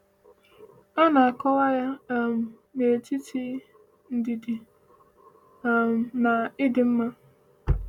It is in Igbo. A na-akọwa ya um n’etiti “ndidi” um na “ịdị mma.”